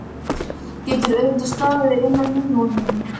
Getur auðveldlega staðið innan í honum.